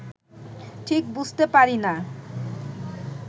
ঠিক বুঝতে পারি না